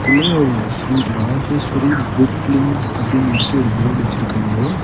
Sri Rajeshwari book links அப்படின்னு வந்துட்டு ஒரு போர்டு வச்சிருக்காங்க.